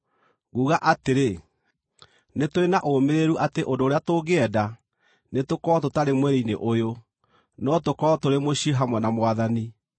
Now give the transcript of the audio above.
Nguuga atĩrĩ, nĩ tũrĩ na ũũmĩrĩru atĩ ũndũ ũrĩa tũngĩenda nĩ tũkorwo tũtarĩ mwĩrĩ-inĩ ũyũ, no tũkorwo tũrĩ mũciĩ hamwe na Mwathani.